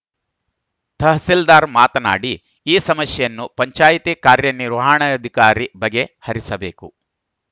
ತಹಸೀಲ್ದಾರ್‌ ಮಾತನಾಡಿ ಈ ಸಮಸ್ಯೆಯನ್ನು ಪಂಚಾಯಿತಿ ಕಾರ್ಯನಿರ್ವಹಣಾಧಿಕಾರಿ ಬಗೆಹರಿಸಬೇಕು